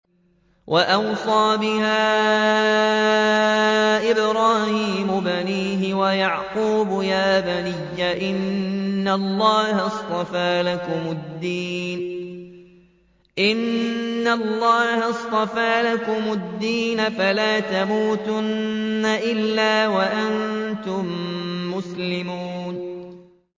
وَوَصَّىٰ بِهَا إِبْرَاهِيمُ بَنِيهِ وَيَعْقُوبُ يَا بَنِيَّ إِنَّ اللَّهَ اصْطَفَىٰ لَكُمُ الدِّينَ فَلَا تَمُوتُنَّ إِلَّا وَأَنتُم مُّسْلِمُونَ